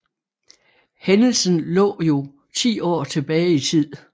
Hændelsen lå jo ti år tilbage i tid